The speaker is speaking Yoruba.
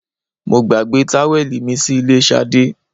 mo gbagbe táwẹ̀lì mi sí ilé Sade